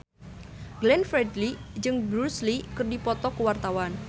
Glenn Fredly jeung Bruce Lee keur dipoto ku wartawan